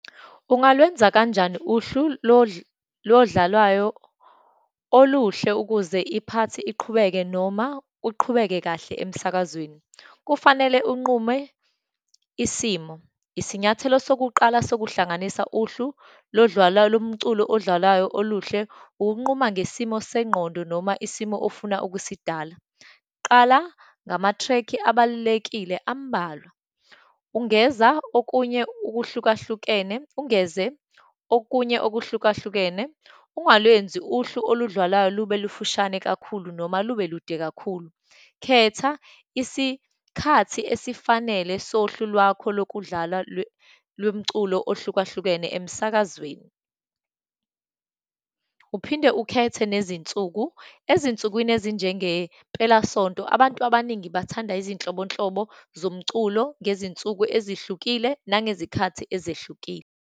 Ungalwenza kanjani uhlu lodlalwayo uluhle ukuze i-part iqhubeke noma uqhubeke kahle emsakazweni? Kufanele unqume isimo. Isinyathelo sokuqala sokuhlanganisa uhlu lodlalwalayo, lomculo odlalayo oluhle, ukunquma ngesimo sengqondo, noma isimo ofuna ukusidala. Qala ngamatrekhi abalulekile ambalwa. Ungeza okunye ukuhlukahlukene, ungeze okunye okuhlukahlukene. Ungalwenzi uhlu oludlalwayo lube lufushane kakhulu, noma lube lude kakhulu. Khetha isikhathi esifanele sohlu lwakho lokudlalwa lomculo ohlukahlukene emsakazweni. Uphinde ukhethe nezinsuku, ezinsukwini ezinjengempelasonto, abantu abaningi bathanda izinhlobonhlobo zomculo ngezinsuku ezihlukile, nangezikhathi ezehlukile.